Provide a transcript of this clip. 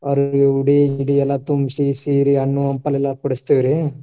ಅವರಿಗೆ ಉಡಿ ಗಿಡಿ ಎಲ್ಲ ತುಂಬಿಸಿ, ಸೀರೆ, ಹಣ್ಣು, ಹಂಪೆಲೆಲ್ಲಾ ಕೊಡಸ್ತೇವ್ರಿ.